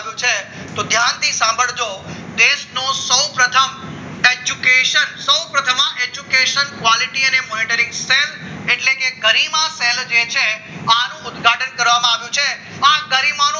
છે તો ધ્યાનથી સાંભળજો દેશના સૌપ્રથમ એજ્યુકેશન સૌપ્રથમ education quality અને મોનેટરીંગ એટલે કે ગરિમા સેલ છે આનો ઉદઘાટન કરવામાં આવ્યું છે આ ગરીમા